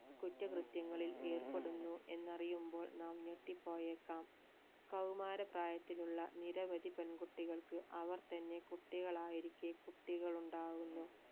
കുറ്റകൃത്യങ്ങളിൽ ഏർപ്പെടുന്നു എന്നറിയുമ്പോൾ നാം ഞെട്ടിപ്പോയേക്കാം കൗമാര പ്രായത്തിലുള്ള നിരവധി പെൺകുട്ടികൾക്ക് അവർ തന്നെ കുട്ടികളായിരിക്കെ കുട്ടികൾ ഉണ്ടാകുന്നു